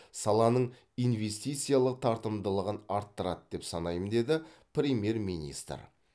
саланың инвестициялық тартымдылығын арттырады деп санаймын деді премьер министр